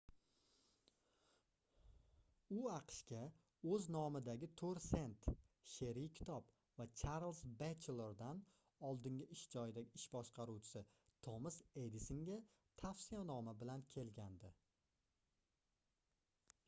u aqshga o'z nomidagi 4 sent she'riy kitob va charlz batchelordan oldingi ish joyidagi ish boshqaruvchisi tomas edisonga tavsiyanoma bilan kelgandi